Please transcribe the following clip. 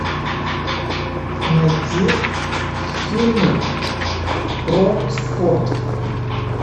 найти фильмы про спорт